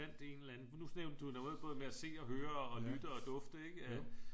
Fandt en eller anden nu nævnte du noget både med at se og høre og lytte og dufte ikke